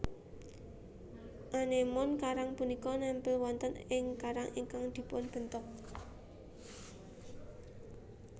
Anémon karang punika nempel wonten ing karang ingkang dipunbentuk